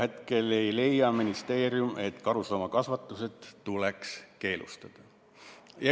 Hetkel ei leia ministeerium, et karusloomakasvatus tuleks keelustada.